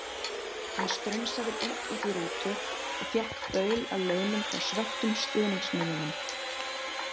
Hann strunsaði beint út í rútu og fékk baul að launum frá svekktum stuðningsmönnunum.